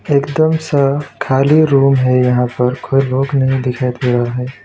एकदम सा खाली रूम है यहां पर कोई लोग नहीं दिखाई दे रहा है।